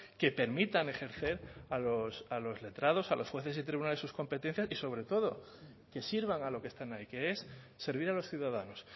que permitan ejercer a los letrados a los jueces y tribunales sus competencias y sobre todo que sirvan a lo que están ahí que es servir a los ciudadanos